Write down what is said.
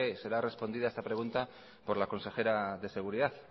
será respondida esta pregunta por la consejera de seguridad